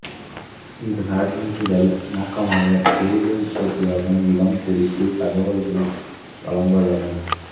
இந்த சான்றிதழ் நோக்கமாக தேயிலை உற்பத்தியாகும் இடம் குறித்த தகவல்கள் வழங்குவதாகும்